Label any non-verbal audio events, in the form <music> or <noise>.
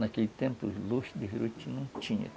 Naquele tempo, os luxos de <unintelligible> não tinha.